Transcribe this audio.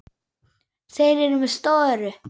Þeir eru með störu.